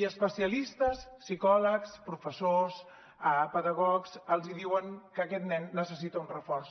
i especialistes psicòlegs professors pedagogs els diuen que aquest nen necessita un reforç